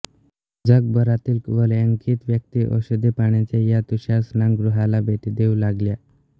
जगभरातील वलयांकित व्यक्ती औषधी पाण्याच्या या तुषारस्नानगृहाला भेटी देऊ लागल्या